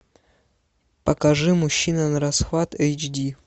покажи мужчина на расхват эйч ди